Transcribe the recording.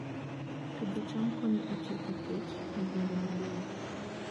Pidho cham konyo e tieko kech e gwenge maboyo